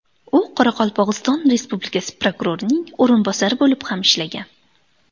U Qoraqalpog‘iston Respublikasi prokurorining o‘rinbosari bo‘lib ham ishlagan.